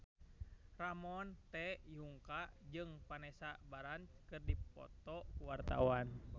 Ramon T. Yungka jeung Vanessa Branch keur dipoto ku wartawan